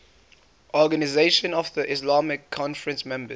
organisation of the islamic conference members